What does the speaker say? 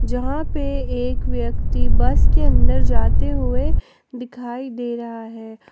जहां पर एक व्यक्ति बस के अंदर जाते हुए दिखाई दे रहा है।